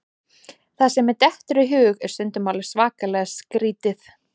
Það sem mér dettur í hug er stundum alveg svakalega skrítið.